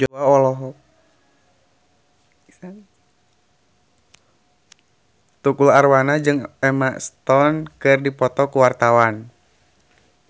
Tukul Arwana jeung Emma Stone keur dipoto ku wartawan